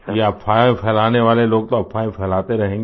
ये अफ़वाहें फैलाने वाले लोग तो अफ़वाहें फैलाते रहेंगे